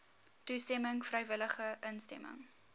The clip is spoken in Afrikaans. toestemming vrywillige instemming